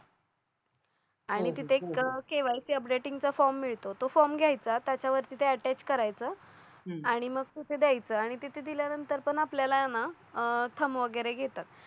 आणि तिथे KYC updating चा फॉर्म मिळतो तो फॉर्म घ्यायचा त्याच्यावरती ते अटॅच करायचं आणि मग कुठे द्यायचं आणि तिथे दिल्यानंतर पण आपल्याला ना थंब वगैरे घेतात.